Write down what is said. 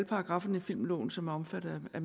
paragrafferne i filmloven som er omfattet af